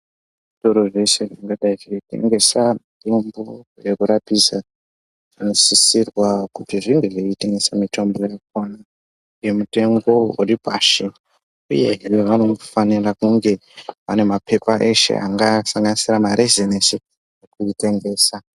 Zvitoro zveshe zvingadai zveitengesa mitombo yekurapisa zvinosisirwa kuti zvinge zveitengese mitombo ngemutengo uri pashi uye vanofanira kunge vane mapepa eshe angasanganisira marezinesi ekutengesa.